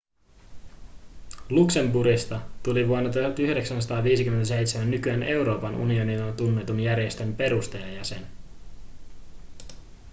luxemburgista tuli vuonna 1957 nykyään euroopan unionina tunnetun järjestön perustajajäsen